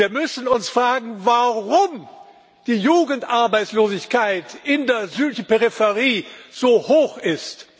Wir müssen uns fragen, warum die Jugendarbeitslosigkeit in der südlichen Peripherie so hoch ist.